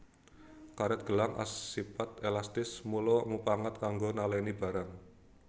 Karet gelang asipat elastis mula mupangat kanggo naleni barang